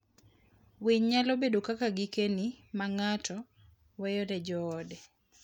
Winy nyalo bedo kaka gikeni ma ng'ato weyo ne joode.